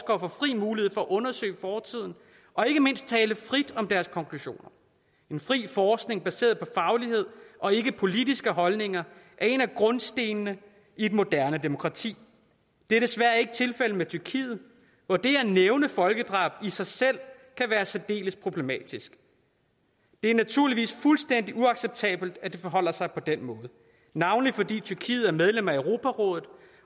mulighed for frit at undersøge fortiden og ikke mindst at tale frit om deres konklusioner en fri forskning baseret på faglighed og ikke politiske holdninger er en af grundstenene i et moderne demokrati det er desværre ikke tilfældet i tyrkiet hvor det at nævne folkedrabet i sig selv kan være særdeles problematisk det er naturligvis fuldstændig uacceptabelt at det forholder sig på den måde navnlig fordi tyrkiet er medlem af europarådet